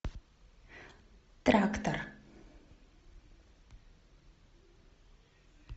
трактор